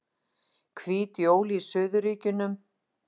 Hvít jól í suðurríkjunum